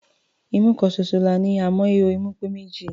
Imú kan ṣoṣo la ní, àmọ́ ihò imú pé méjì.